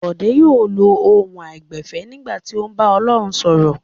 Bọ̀dé yóò lo ohùn àìgbẹ̀fẹ̀ nígbà tí ó bá ń bá Ọlọ́run sọ̀rọ̀.